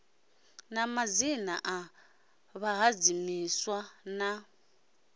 na madzina a vhahadzimiswa na